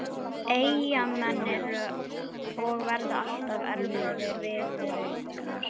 Eyjamenn eru og verða alltaf erfiðir viðureignar.